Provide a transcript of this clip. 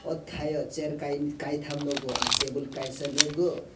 o tai o chair kain kaitam nogo ang tebol kaisa nogo.